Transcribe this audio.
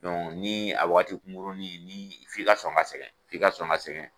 ni a wagati kunkurunin ni f'i ka son ka sɛgɛn f'i ka sɔn ka sɛgɛn.